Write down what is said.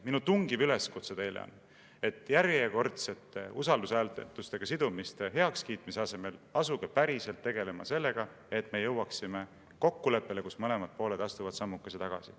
Minu tungiv üleskutse teile on, et järjekordsete usaldushääletustega sidumiste heakskiitmise asemel asuge päriselt tegelema sellega, et me jõuaksime kokkuleppele, nii et mõlemad pooled astuvad sammukese tagasi.